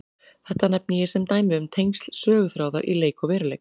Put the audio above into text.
Þetta nefni ég sem dæmi um tengsl söguþráðar í leik og veruleik.